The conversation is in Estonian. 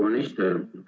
Proua minister!